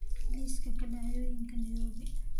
liiska dhacdooyinka nairobi